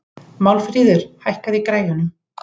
Málmfríður, hækkaðu í græjunum.